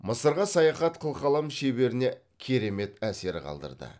мысырға саяхат қылқалам шеберіне керемет әсер қалдырды